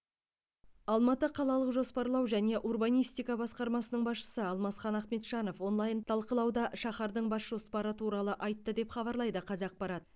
алматы қалалық жоспарлау және урбанистика басқармасының басшысы алмасхан ахмеджанов онлайн талқылауда шаһардың бас жоспары туралы айтты деп хабарлайды қазақпарат